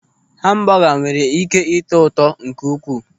Hambọga nwere ị́ké ịtọ ụtọ nke ukwuu.